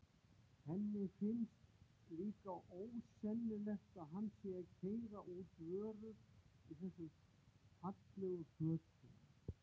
Henni finnst líka ósennilegt að hann sé að keyra út vörur í þessum fallegu fötum.